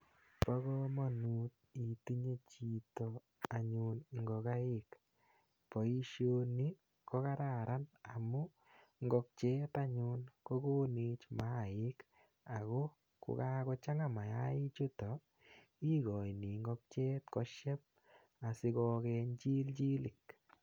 pakamanut itinye chito anyun ngokaik. paishoni kokararan amuungokyet anyun kogonech mayaik ako kokakochanga mayainik chuto ikachini ngokaik koshek asigogeny chilinik.